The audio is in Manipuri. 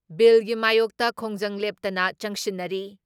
ꯕꯤꯜꯒꯤ ꯃꯥꯌꯣꯛꯇ ꯈꯣꯡꯖꯪ ꯂꯦꯞꯇꯅ ꯆꯪꯁꯤꯟꯅꯔꯤ ꯫